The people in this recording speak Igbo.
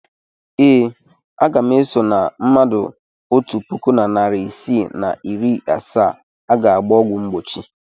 Ee, aga m eso na mmadụ otu puku na narị isii na iri asaa a ga-agba ọgwụ mgbochi.